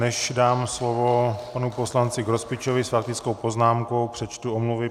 Než dám slovo panu poslanci Grospičovi s faktickou poznámkou, přečtu omluvy.